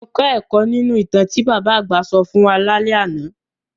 Mo kọ́ ẹ̀kọ́ nínu ìtàn tí bàbá àgbà sọ fún wa lálẹ́ àná.